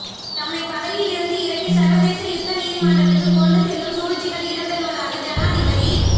தம்மைப் பதவியிலிருந்து இறக்கி சர்வதேச யுத்த நீதிமன்றத்துக்குக் கொண்டு செல்லும் சூழ்ச்சிகள் இடம்பெறுவதாக ஜனாதிபதி